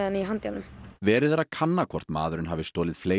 í handjárnum verið er að kanna hvort maðurinn hafi stolið fleiri